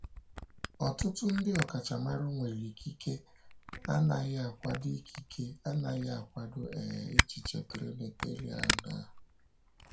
Ọtụtụ ndị ọkachamara nwere ikike anaghị akwado ikike anaghị akwado um echiche Trinitarian a.